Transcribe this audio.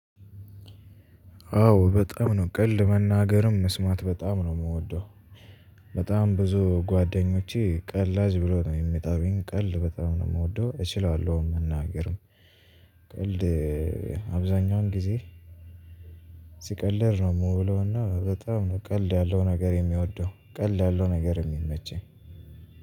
አዎ በጣም ነው ቀልድ መናገርም መስማት በጣም ነው የምወደው። በጣም ብዙ ጓደኞቼ ቀላጅ ብለው ነው የሚጠሩኝ ቀልድ በጣም ነው የምወደው እችላለሁም መናገርም ቀልድ አብዛኛውን ጊዜ። ስቀልድ ነው የምውለው እና በጣም ነው ቀልድ ያለው ነገር የምወደው ቀልድ ያለው ነገር የሚመቸኝ